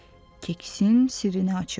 keksin sirrini açır.